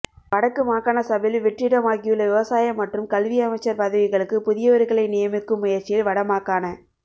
வடக்கு மாகாணசபையில் வெற்றிடமாகியுள்ள விவசாய மற்றும் கல்வி அமைச்சர் பதவிகளுக்கு புதியவர்களை நியமிக்கும் முயற்சியில் வட மாகாண